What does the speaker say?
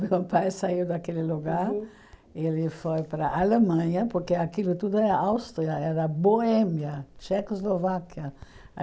Meu pai saiu daquele lugar, ele foi para a Alemanha, porque aquilo tudo é Áustria, era Bohemia, Tchecoslováquia.